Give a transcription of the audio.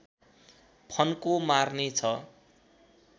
फन्को मार्ने छ